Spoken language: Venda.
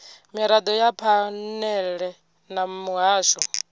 mirado ya phanele na muhasho